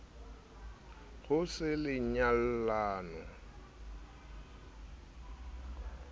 ho se le nyallano ya